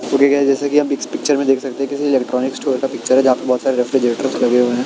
Okay guys जैसा कि इस पिक्चर में आप देख सकते हैं किसी इलेक्ट्रॉनिक स्टोर का पिक्चर हैं जहाँ पर बहुत सारे रेफ्रिजरेटर्स लगे हुए हैं।